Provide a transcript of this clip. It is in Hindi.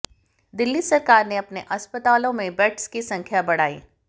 दिल्ली सरकार ने अपने अस्पतालों में बेड्स की संख्याा बढ़ाई